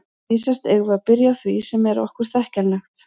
Vísast eigum við að byrja á því sem er okkur þekkjanlegt.